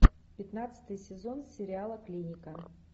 пятнадцатый сезон сериала клиника